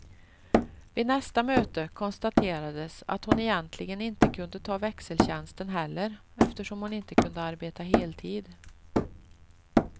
Vid nästa möte konstaterades att hon egentligen inte kunde ta växeltjänsten heller eftersom hon inte kunde arbeta heltid.